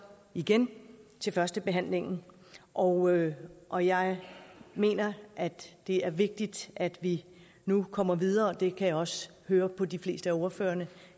igen til førstebehandlingen og og jeg mener det er vigtigt at vi nu kommer videre og det kan jeg også høre på de fleste af ordførerne